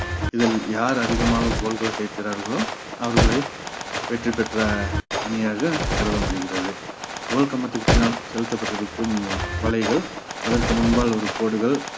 இதில் யார் அதிகமாக goal கள் சேர்க்கிறார்களோ அவர்களை வெற்றி பெற்ற அணியாக கருத முடிகிறது goal கம்பத்திருக்கு பின்னால் செலுத்தப்பட்டிருக்கும் வலைகள் அதற்கு முன்பால் ஒரு கோடுகள்